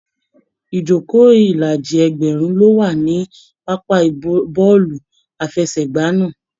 Ijoko ilaji ẹgbẹrun lo wà ní pápá bọọlu àfẹ́sẹ̀gbà náà.